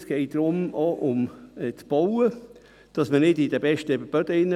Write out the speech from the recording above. Es geht auch um das Bauen, darum, dass nicht auf den besten Böden gebaut wird.